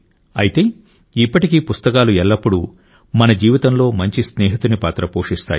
అయితే ఇప్పటికీ పుస్తకాలు ఎల్లప్పుడూ మన జీవితంలో మంచి స్నేహితుని పాత్ర పోషిస్తాయి